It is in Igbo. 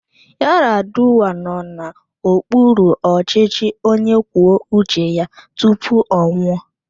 Yaradua nọ n'okpuru ọchịchị onye kwuo uche ya tupu ọ nwụọ.